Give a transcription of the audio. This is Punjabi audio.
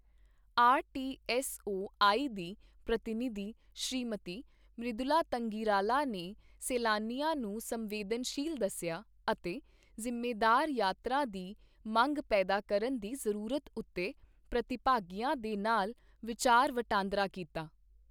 R T S O I ਦੀ ਪ੍ਰਤੀਨਿਧੀ ਸ਼੍ਰੀਮਤੀ ਮ੍ਰਦੁਲਾ ਤੰਗਿਰਾਲਾ ਨੇ ਸੈਲਾਨੀਆਂ ਨੂੰ ਸੰਵੇਦਨਸ਼ੀਲ ਦੱਸਿਆ ਅਤੇ ਜ਼ਿੰਮੇਦਾਰ ਯਾਤਰਾ ਦੀ ਮੰਗ ਪੈਦਾ ਕਰਨ ਦੀ ਜ਼ਰੂਰਤ ਉੱਤੇ ਪ੍ਰਤੀਭਾਗੀਆਂ ਦੇ ਨਾਲ ਵਿਚਾਰ ਵਟਾਂਦਰਾ ਕੀਤਾ।